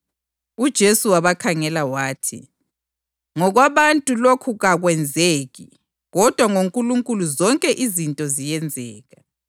Kwathi abafundi sebekuzwile lokhu bamangala kakhulu babuza bathi, “Pho ngubani ongasindiswa na?”